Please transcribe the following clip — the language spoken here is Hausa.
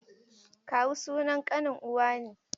Kawu sunan ƙanin uwa ne.